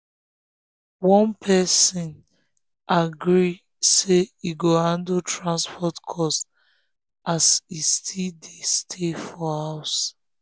one person agree say e go handle transport cost as e still dey stay for house.